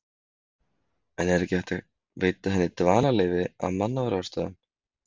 En er ekki hægt að veita henni dvalarleyfi af mannúðarástæðum?